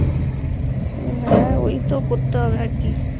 ওহ হ্যাঁ ওইতো করতে হবে আর কি